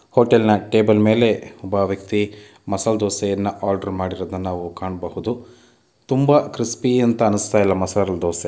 ಹೋಟೆಲ್‌ನ ಟೇಬಲ ಮೇಲೆ ಒಬ್ಬ ವ್ಯಕ್ತಿ ಮಸಾಲ್ ದೋಸೆಯನ್ನ ಆರ್ಡರ್ ಮಾಡಿರುವುದನ್ನು ನಾವು ಕಾಣಬಹುದು ತುಂಬಾ ಕ್ರಿಸ್ಪಿ ಅಂತ ಅನುಸ್ತಾ ಇಲ್ಲ ಮಸಾಲ್ ದೋಸೆ__